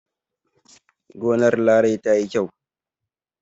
Gonar Larai ta yi kyau.